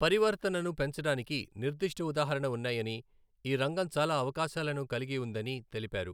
పరివర్తనను పెంచడానికి నిర్దిష్ట ఉదాహరణ ఉన్నాయని, ఈ రంగం చాలా అవకాశాలను కలిగి ఉందని తెలిపారు.